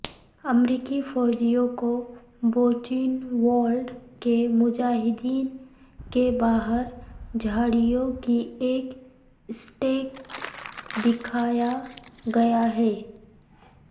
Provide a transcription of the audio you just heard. امریکی فوجیوں کو بوچینوالڈ کے مجاہدین کے باہر جھاڑیوں کی ایک اسٹیک دکھایا گیا ہے